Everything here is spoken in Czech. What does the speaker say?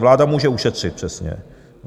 Vláda může ušetřit, přesně.